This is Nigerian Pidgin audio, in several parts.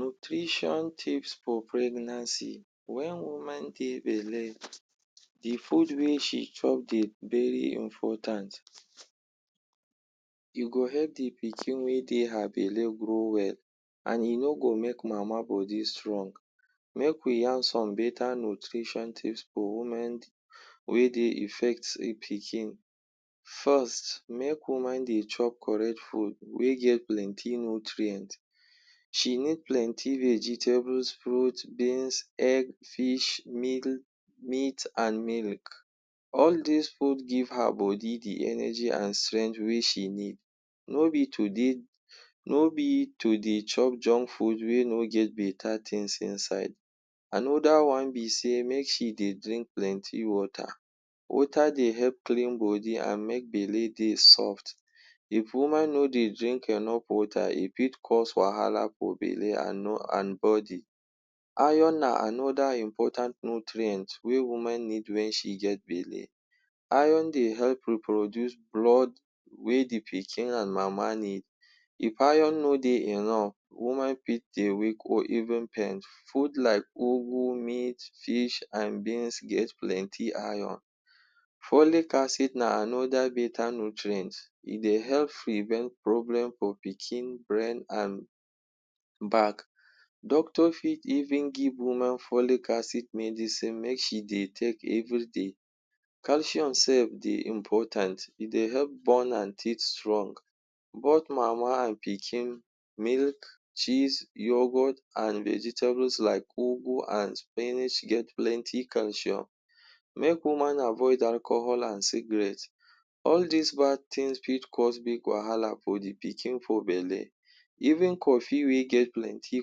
Nutrition tips for pregnancy. Wen woman get belle, the food wey she chop dey very important. E go help the pikin wey dey her belle grow well, an e no go make mama body strong. Make we yarn some beta nutrition tips for women wey dey effect e pikin. First, make woman dey chop correct food wey get plenty nutrient. She need plenty vegetables, fruits, beans, egg, fish, meat an milk. All dis food give her body the energy an strength wey she need. No be to dey no be to dey chop junk food wey no get beta tins inside. Another wan be sey make she dey drink plenty water. Water dey help clean body an make belle dey soft. If woman no dey drink enough water, e fit cause wahala for belle an an body. Iron na another important nutrient wey woman need wen she get belle. Iron dey help reproduce blood wey the pikin an mama need. If iron no dey enough, woman fit dey weak or even faint. Food like ugu, meat, fish, an beans get plenti Iron. Folic acid na another beta nutrient. E dey help prevent problem for pikin brain, an back. Doctor fit even give woman folic acid medicine make she dey take everyday. Calcium sef dey important. E dey help ban an teeth strong — both mama an pikin. Milk, cheese, yoghurt, an vegetables like ugu and spinach get plenty calcium. Make woman avoid alcohol and cigarette. All dis bad tins fit cause big wahala for the pikin for belle. Even coffee wey get plenty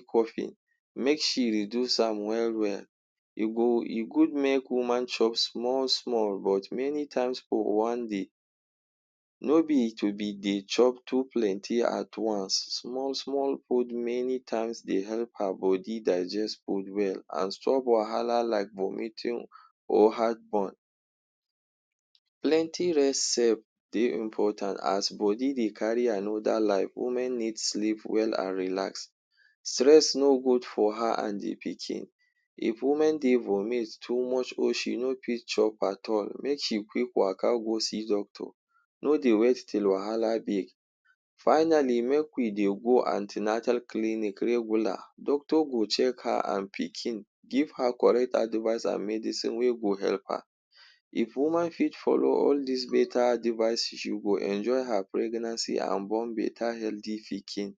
coffin, make she reduce am well-well. E go e good make woman chop small-small but many times for wan day. No be to be dey chop too plenty at wance. Small-small food many times dey help her body digest food well an stop wahala like vomiting or heartburn. Plenty rest sef dey important. As body dey carry anoda life, women need sleep well an relax. Stress no good for her an the pikin. If woman dey vomit too much or she no fit chop at all, make she quick waka go see doctor. No dey wait till wahala big. Finally, make we dey go an ten atal clinic regular. Doctor go check her an pikin, give her correct advice an medicine wey go help her. If woman fit follow all dis beta advice, she go enjoy her pregnancy an born beta healthy pikin.